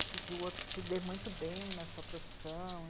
E que que o outro se dê muito bem na sua profissão.